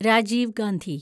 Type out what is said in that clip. Rajeev Gandhi